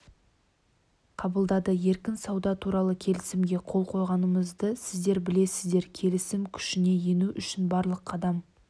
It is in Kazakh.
қабылдады еркін сауда туралы келісімге қол қойғанымызды сіздер білесіздер келісім күшіне ену үшін барлық қадам